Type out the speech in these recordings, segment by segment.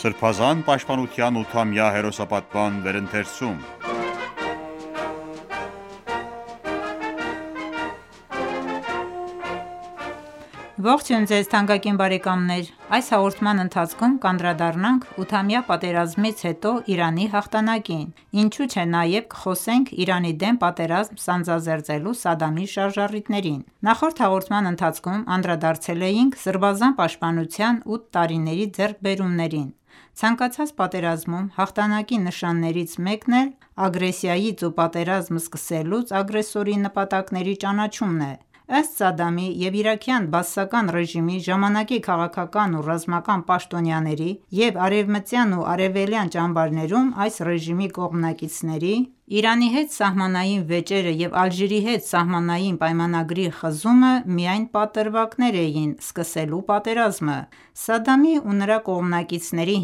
Սրբազան պաշտպանության 8-ամյա հերոսապատման վերընթերցում Ողջույն ձեզ թանկագին բարեկամներ: Այս հաղորդման ընթացքում կանդրադառնանք 8-ամյա պատերազմից հետո Իրանի հաղթանակին ինչու չէ նաև կխոսենք Իրանի դեմ պատերազմ սանձազերծելու Սադդամի շարժառիթներին: Նախորդ հաղորդման ընթացքում անդրադարձել էինք սրբազան պաշտպանության ութ տարիների ձեռքբերումներին։ Ցանկացած պատերազմում հաղթանակի նշաններից մեկն էլ ագրեսիայից ու պատերազմ սկսելուց ագրեսորի նպատակների ճանաչումն է։ Ըստ Սադամի և իրաքյան բաասական ռեժիմի ժամանակի քաղաքական ու ռազմական պաշտոնյաների և արևմտյան և արևելյան ճամբարներում այս ռեժիմի կողմնակիցների, Իրանի հետ սահմանային վեճերը և Ալժիրի հետ սահմանային պայմանագրի խզումը միայն պատրվակներ էին սկսելու պատերազմը: Սադամի ու նրա կողմնակիցների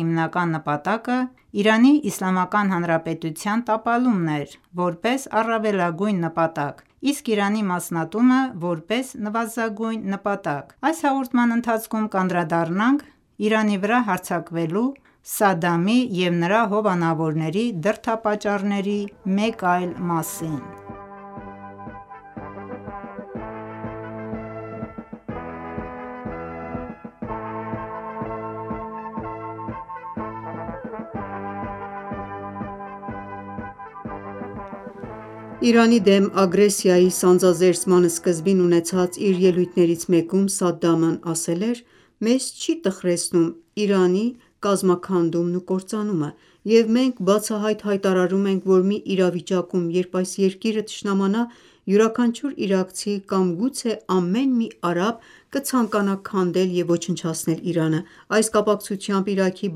հիմնական նպատակը Իրանի Իսլամական Հանրապետության տապալումն էր՝ որպես առավելագույն նպատակ, իսկ Իրանի մասնատումը որպես նվազագույն նպատակ։ Այս հաղորդման ընթացքում կանդրադառնանք Իրանի վրա հարձակվելու Սադամի և նրա հովանավորների դրդապատճառների մեկ այլ մասին: Իրանի դեմ ագրեսիայի սանձազերծման սկզբին ունեցած իր ելույթներից մեկում Սադդամն ասել էր.«Մեզ չի տխրեցնում Իրանի կազմաքանդումն ու կործանումը, և մենք բացահայտ հայտարարում ենք, որ մի իրավիճակում, երբ այս երկիրը թշնամանա, յուրաքանչյուր իրաքցի կամ գուցե ամեն մի արաբ կցանկանա քանդել և ոչնչացնել Իրանը»։ Այս կապակցությամբ Իրաքի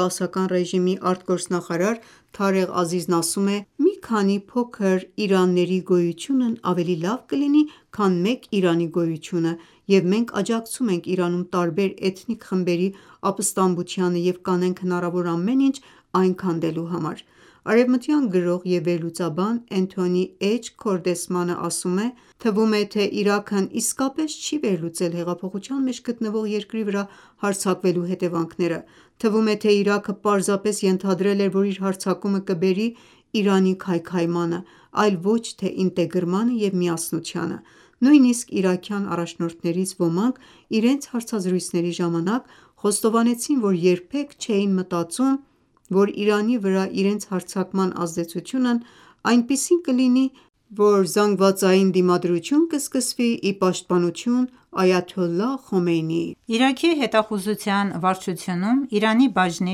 բաասական ռեժիմի ԱԳ նախարար Թարեղ Ազիզն ասում է.«Մի քանի փոքր Իրանների գոյությունն ավելի լավ կլինի, քան մեկ Իրանի գոյությունը, և մենք աջակցում ենք Իրանում տարբեր էթնիկ խմբերի ապստամբությանը և կանենք հնարավոր ամեն ինչ այն քանդելու համար»: Արևմտյան գրող և վերլուծաբան Էնթոնի Էչ. Քորդեսմանը ասում է. «Թվում է, թե Իրաքն իսկապես չի վերլուծել հեղափոխության մեջ գտնվող երկրի վրա հարձակվելու հետևանքները: Թվում է, թե Իրաքը պարզապես ենթադրել էր, որ իր հարձակումը կբերի Իրանի քայքայմանը, այլ ոչ թե ինտեգրմանը և միասնությանը։ Նույնիսկ իրաքյան առաջնորդներից ոմանք իրենց հարցազրույցների ժամանակ խոստովանեցին, որ երբեք չէին մտածում, որ Իրանի վրա իրենց հարձակման ազդեցությունն այնպիսին կլինի, որ զանգվածային դիմադրություն կսկսվի ի պաշտպանություն Այաթոլլահ Խոմեյնիի»: Իրաքի հետախուզության վարչությունում Իրանի բաժնի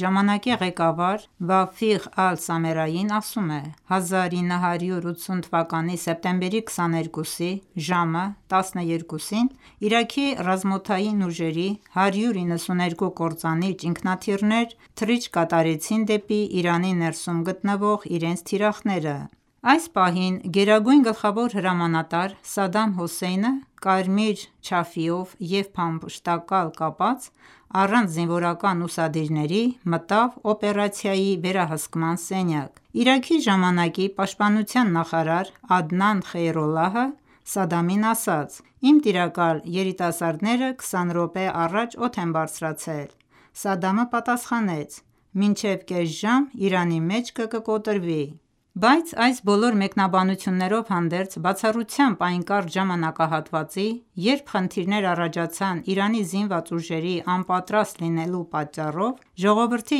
ժամանակի ղեկավար «Վաֆիղ Ալ-Սամերային» ասում է.«1980 թվականի սեպտեմբերի 22-ի ժամը 12-ին Իրաքի ռազմաօդային ուժերի 192 կործանիչ ինքնաթիռներ թռիչք կատարեցին դեպի Իրանի ներսում գտնվող իրենց թիրախները։ Այս պահին Գերագույն գլխավոր հրամանատար Սադամ Հուսեյնը՝ կարմիր չաֆիեով և փամփշտակալ կապած, առանց զինվորական ուսադիրների մտավ օպերացիայի վերահսկման սենյակ»: Իրաքի ժամանակի ՊՆ «Ադնան Խեյրոլլահը» Սադդամին ասաց.« Իմ տիրակալ, երիտասարդները 20 րոպե առաջ օդ են բարձրացել»: Սադդամը պատասխանեց.«Մինչև կես ժամ Իրանի մեջքը կկոտրվի»: Բայց այս բոլոր մեկնաբանություններով հանդերձ, բացառությամբ այն կարճ ժամանակահատվածի, երբ խնդիրներ առաջացան Իրանի զինված ուժերի անպատրաստ լինելու պատճառով, ժողովրդի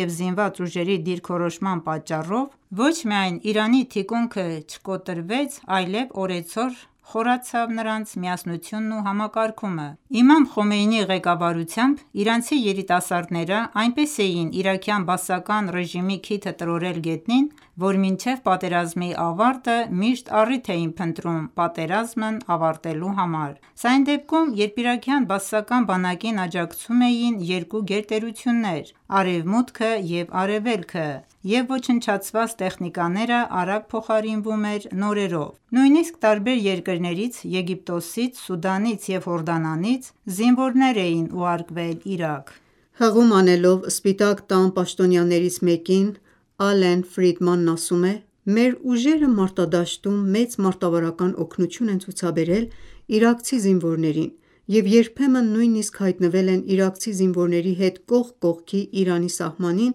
և զինված ուժերի դիրքորոշման պատճառով ոչ միայն Իրանի թիկունքը չկոտրվեց, այլև օրեցօր խորացավ նրանց միասնությունն ու համակարգումը: Իմամ Խոմեյնիի ղեկավարությամբ իրանցի երիտասարդներն այնպես էին իրաքյան բաասական ռեժիմի քիթը տրորտել գետնին, որ մինչև պատերազմի ավարտը միշտ առիթ էին փնտրում պատերազմն ավարտելու համար։ Սա այն դեպքում, երբ իրաքյան բաասական բանակին աջակցում էին երկու գերտերություններ՝ Արևմուտքը և Արևելքը, և ոչնչացված տեխնիկաները արագ փոխարինվում էր նորերով։ Նույնիսկ տարբեր երկրներից՝ Եգիպտոսից, Սուդանից և Հորդանանից զինվորներ են ուղարկվել Իրաք։ Հղում անելով Սպիտակ Տան պաշտոնյաներից մեկին Ալեն Ֆրիդմանն ասում է.«Մեր ուժերը մարտադաշտում մեծ մարտավարական օգնություն են ցուցաբերել իրաքցի զինվորներին և երբեմն նույնիսկ հայտնվել են իրաքցի զինվորների հետ կողք կողքի Իրանի սահմանին,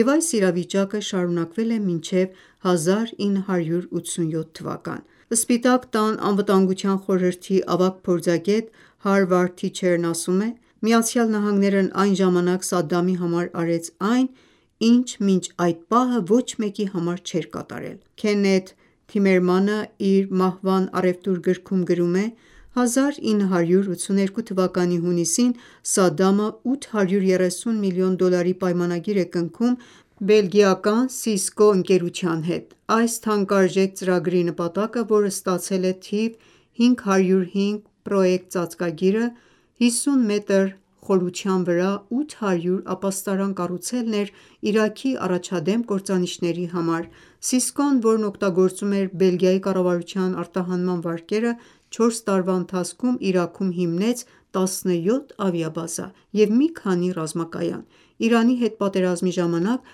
և այս իրավիճակը շարունակվել է մինչև 1987 թ.»: Սպիտակ Տան Անվտանգության խորհրդի ավագ փորձագետ Հարվարդ Թիչերն ասում է.«ԱՄՆ-ն այն ժամանակ Սադդամի համար արեց այն, ինչ մինչ այդ պահը ոչ մեկի համար չէր կատարել»: Քեննեթ Թիմերմանը իր «Մահվան առևտուր» գրքում գրում է.«1982 թվականի հունիսին Սադամը 830 միլիոն դոլարի պայմանագիր է կնքում բելգիական Cisco ընկերության հետ։ Այս թանկարժեք ծրագրի նպատակը, որը ստացել է «թիվ 505 պռոեկտ» ծածկագիրը, 50 մետր խորության վրա 800 ապաստարան կառուցելն էր Իրաքի առաջադեմ կործանիչների համար: Cisco-ն, որն օգտագործում էր Բելգիայի կառավարության արտահանման վարկերը, չորս տարվա ընթացքում Իրաքում հիմնեց 17 ավիաբազա և մի քանի ռազմակայան։ Իրանի հետ պատերազմի ժամանակ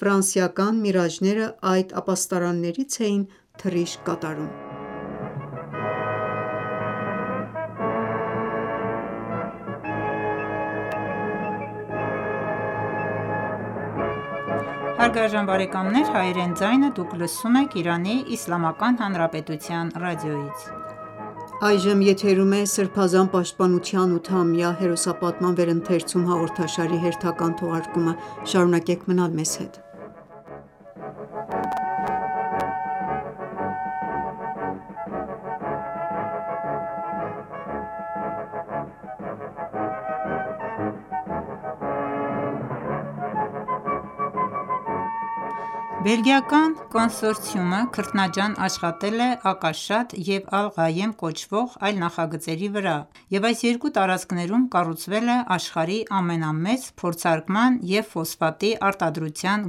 ֆրանսիական «Միրաժները» այդ ապաստարաններից էին թռիչք կատարում: Բելգիական կոնսորցիումը քրտնաջան աշխատել է «Ակաշատ» և «Ալ-Ղայեմ» կոչվող այլ նախագծերի վրա և այս երկու տարածքներում կառուցել է աշխարհի ամենամեծ փորձարկման և ֆոսֆատի արտադրության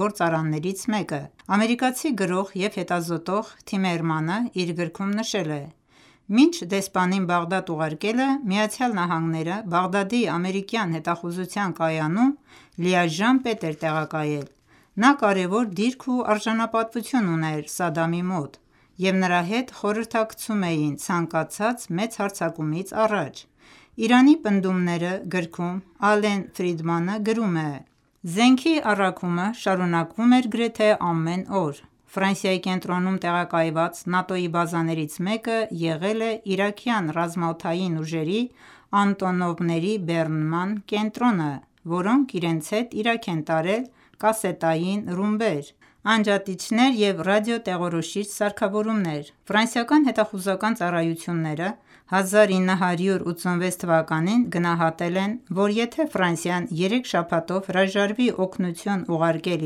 գործարաններից մեկը: Ամերիկացի գրող և հետազոտող «Թիմերմանը» իր գրքում նշել է. «Մինչ դեսպանին Բաղդադ ուղարկելը, Միացյալ Նահանգները Բաղդադի ամերիկյան հետախուզության կայանում լիաժամ պետ էր տեղակայել։ Նա կարեւոր դիրք ու արժանապատվություն ուներ Սադամի մոտ, և նրա հետ խորհրդակցում էին ցանկացած մեծ հարձակումից առաջ»: «Իրանի պնդումները» գրքում Ալեն Ֆրիդմանը գրում է. «Զենքի առաքումը շարունակվում էր գրեթե ամեն օր։ Ֆրանսիայի կենտրոնում տեղակայված ՆԱՏՕ-ի բազաներից մեկը եղել է իրաքյան ռազմաօդային ուժերի Անտոնովների բեռնման կենտրոնը, որոնք իրենց հետ Իրաք են տարել կասետային ռումբեր, անջատիչներ և ռադիոտեղորոշիչ սարքավորումներ։ Ֆրանսիական հետախուզական ծառայությունները 1986 թվականին գնահատել են, որ եթե Ֆրանսիան երեք շաբաթով հրաժարվի օգնություն ուղարկել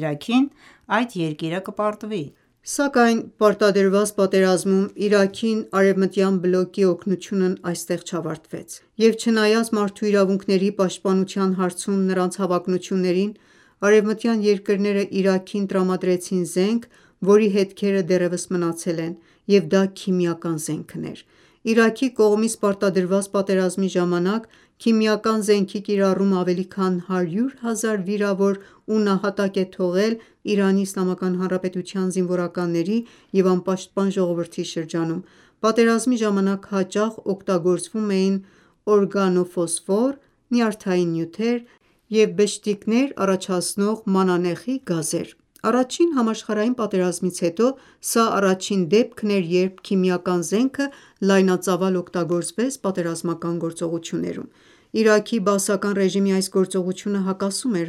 Իրաքին, այդ երկիրը կպարտվի»։ Սակայն պարտադրված պատերազմում Իրաքին արևմտյան բլոկի օգնությունն այստեղ չավարտվեց, և չնայած մարդու իրավունքների պաշտպանության հարցում նրանց հավակնություններին, արևմտյան երկրները Իրաքին տրամադրեցին զենք, որի հետքերը դեռևս մնացել են, և դա քիմիական զենքն էր։ Իրաքի կողմից պարտադրված պատերազմի ժամանակ քիմիական զենքի կիրառումը ավելի քան 100.000 վիրավոր ու նահատակ է թողել ԻԻՀ-ի զինվորականների և անպաշտպան ժողովրդի շրջանում: Պատերազմի ժամանակ հաճախ օգտագործվում էին օրգանոֆոսֆոր և մանանեխի գազեր։ Առաջին համաշխարհային պատերազմից հետո սա առաջին դեպքն էր, երբ քիմիական զենքը լայնածավալ օգտագործվեց պատերազմական գործողություններում: Իրաքի բաասական ռեժիմի այս գործողությունը հակասում էր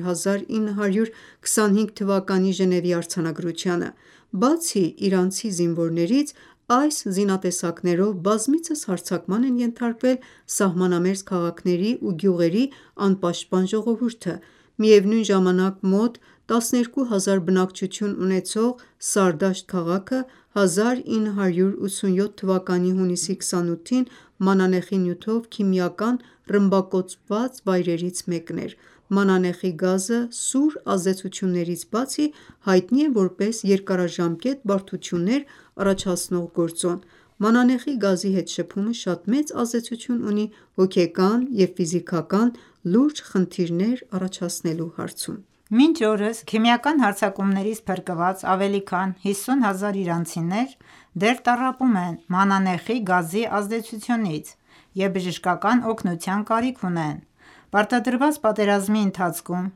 1925թ. Ժնևի արձանագրությանը: Բացի իրանական զինվորներից, այս զինատեսակներով բազմիցս հարձակման են ենթարկվել սահմանամերձ քաղաքների ու գյուղերի անպաշտպան ժողովուրդը։ Միևնույն ժամանակ, մոտ 12000 բնակչություն ունեցող Սարդաշտ քաղաքը 1987 թվականի հունիսի 28-ին մանանեխային նյութով քիմիական ռմբակոծված վայրերից մեկն էր։ Մանանեխի գազը, սուր ազդեցություններից բացի, հայտնի է որպես երկարաժամկետ բարդություններ առաջացնող գործոն: Մանանեխի գազի հետ շփումը շատ մեծ ազդեցություն ունի հոգեկան և ֆիզիկական լուրջ խնդիրներ առաջացնելու հարցում։ Մինչ օրս քիմիական հարձակումներից փրկված ավելի քան 50.000 իրանցիներ դեռ տառապում են մանանեխի գազի ազդեցությունից և բժշկական օգնության կարիք ունեն: Պարտադրված պատերազմի ընթացքում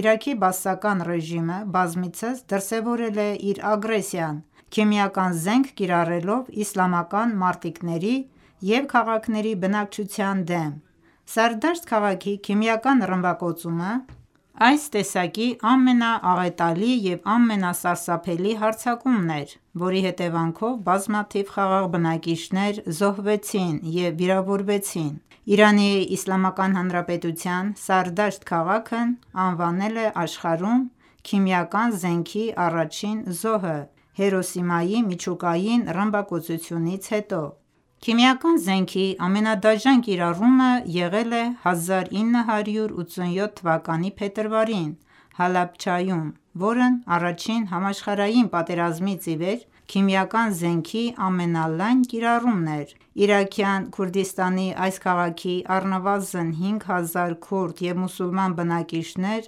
Իրաքի բաասական ռեժիմը բազմիցս դրսևորել է իր ագրեսիան՝ քիմիական զենք կիրառելով իսլամական մարտիկների և քաղաքների բնակչության դեմ։ Սարդաշտ քաղաքի քիմիական ռմբակոծումը այս տեսակի ամենաաղետալի և ամենասարսափելի հարձակումն էր, որի հետևանքով բազմաթիվ խաղաղ բնակիչներ զոհվեցին և վիրավորվեցին: ԻԻՀ-ն Սարդաշտ քաղաքն անվանել է աշխարհում քիմիական զենքի առաջին զոհը Հիրոսիմայի միջուկային ռմբակոծությունից հետո։ Քիմիական զենքի ամենադաժան կիրառումը եղել է 1987 թվականի փետրվարին Հալաբջայում, որն առաջին համաշխարհային պատերազմից ի վեր քիմիական զենքի ամենալայն կիրառումն է։ Իրաքյան Քուրդիստանի այս քաղաքի առնվազն 5000 քուրդ և մուսուլման բնակիչներ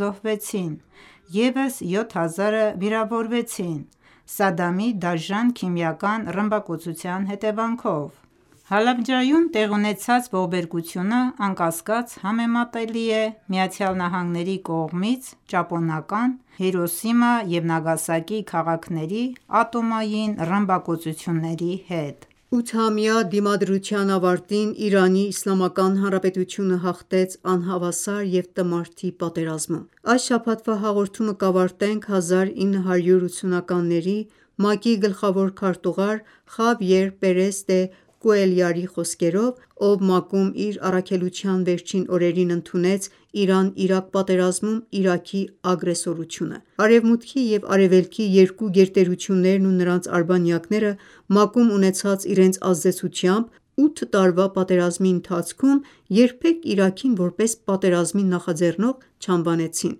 զոհվեցին, ևս 7000-ը վիրավորվեցին Սադամի դաժան քիմիական ռմբակոծության հետևանքով։ Հալաբջայում տեղի ունեցած ողբերգությունը, անկասկած, համեմատելի է ԱՄՆ-ի կողմից ճապոնական Հիրոսիմա և Նագասակի քաղաքների ատոմային ռմբակոծությունների հետ։ Ութամյա դիմադրության ավարտին ԻԻՀ-ն հաղթեց անհավասար և տմարդի պատերազմում: Այս շաբաթվա հաղորդումը կավարտենք 1980-ականների ՄԱԿ-ի գլխավոր քարտուղար Խավիեր Պերես դե Կուելյարի խոսքերով, ով ՄԱԿ-ում իր առաքելության վերջին օրերին ընդունեց Իրան-Իրաք պատերազմում Իրաքի ագրեսորությունը: Արևմուտքի և Արևելքի երկու գերտերություններն ու նրանց արբանյակները ՄԱԿ-ում ունեցած իրենց ազդեցությամբ ութ տարվա պատերազմի ընթացքում երբեք Իրաքին որպես պատերազմի նախաձեռնող չանվանեցին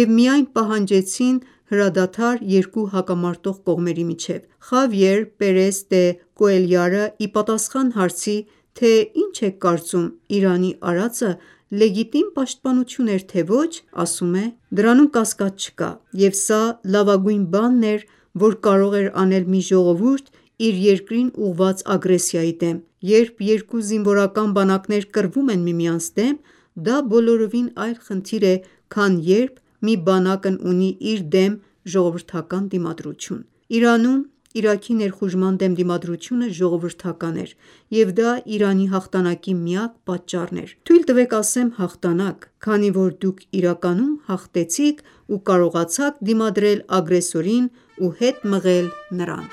և միայն պահանջեցին հրադադար երկու հակամարտող կողմերի միջև։ «Խավիեր Պերես դե Կուելյարը» ի պատասխան հարցի, թե ի՞նչ եք կարծում, Իրանի արածը լեգիտիմ պաշտպանություն էր, թե՞ ոչ. ասում է.«Դրանում կասկած չկա, և սա լավագույն բանն էր, որ կարող էր անել մի ժողովուրդ իր երկրին ուղղված ագրեսիայի դեմ։ Երբ երկու զինվորական բանակներ կռվում են միմյանց դեմ, դա բոլորովին այլ խնդիր է, քան երբ մի բանակն ունի իր դեմ ժողովրդական դիմադրություն։ Իրանում Իրաքի ներխուժման դեմ դիմադրությունը ժողովրդական էր, և դա Իրանի հաղթանակի միակ պատճառն էր։ Թույլ տվեք ասեմ հաղթանակ, քանի որ դուք իրականում հաղթեցիք ու կարողացաք դիմադրել ագրեսորին ու հետ մղել նրան»։